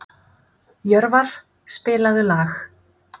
Jörvar, spilaðu lag.